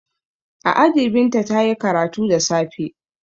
A aji Binta ta yi karatu da safe.